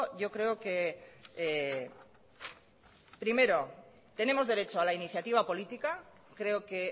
yo creo que primero tenemos derecho a la iniciativa política creo que